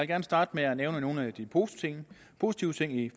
gerne starte med at nævne nogle af de positive positive ting i